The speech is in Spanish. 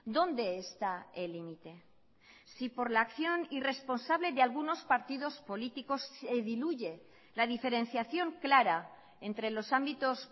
dónde está el límite si por la acción irresponsable de algunos partidos políticos se diluye la diferenciación clara entre los ámbitos